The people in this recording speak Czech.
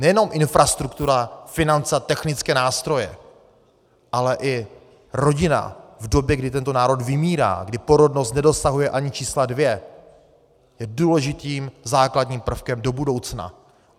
Nejenom infrastruktura, finance a technické nástroje, ale i rodina v době, kdy tento národ vymírá, kdy porodnost nedosahuje ani čísla dvě, je důležitým základním prvkem do budoucna.